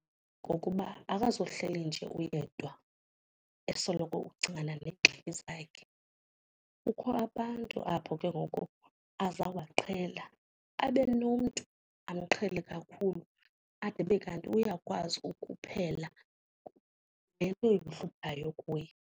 Ngokuba akazohleli nje uyedwa esoloko ucingana neengxaki zakhe. Kukho abantu apho ke ngoku azawuba qhela abe nomntu amqhele kakhulu ade abe kanti uyakwazi ukuphela le imhluphayo kuye.